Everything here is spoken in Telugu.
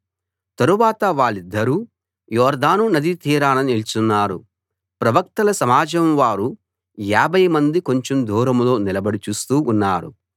తరువాత వాళ్ళిద్దరూ యొర్దాను నదీ తీరాన నిల్చున్నారు ప్రవక్తల సమాజం వారు యాభై మంది కొంచెం దూరంలో నిలబడి చూస్తూ ఉన్నారు